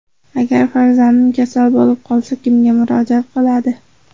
Agar farzandim kasal bo‘lib qolsa, kimga murojaat qiladi?